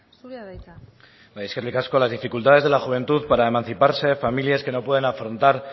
zurea da hitza bai eskerrik asko las dificultades de la juventud para emanciparse familias que no pueden afrontar